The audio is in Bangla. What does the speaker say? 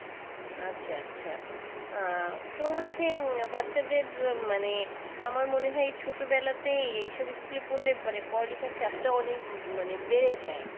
আচ্ছা আচ্ছা। তো হচ্ছে বাচ্চাদের মানে আমার মনে হয় এই ছোটবেলাতেই এই সব school এ পড়লে মানে পড়া-লিখার চাপটা অনেক বেড়ে যায়।